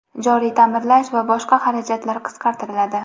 joriy taʼmirlash va boshqa xarajatlar qisqartiriladi.